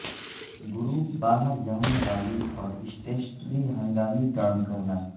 group باہر جانے والی اور اسٹیشنری ہنگامی کام کرنا